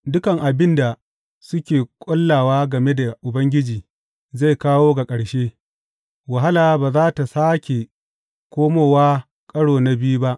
Dukan abin da suke ƙullawa game da Ubangiji zai kawo ga ƙarshe; wahala ba za tă sāke komowa ƙaro na biyu ba.